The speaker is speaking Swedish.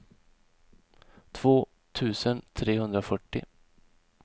två tusen trehundrafyrtio